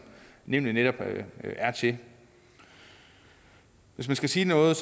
nævnet netop er til hvis man skal sige noget